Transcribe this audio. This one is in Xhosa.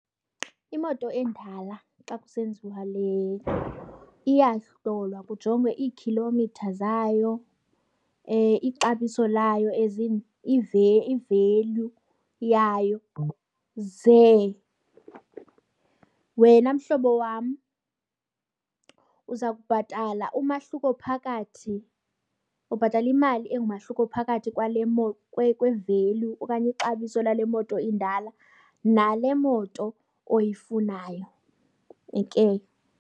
Imoto endala xa kusenziwa le, iyahlolwa kujongwe iikhilomitha zayo, ixabiso layo as in i-value yayo. Ze wena mhlobo wam uza kubhatala umahluko phakathi, ubhatala imali engumahluko phakathi kwe-value okanye ixabiso lale moto indala nale moto oyifunayo, heke.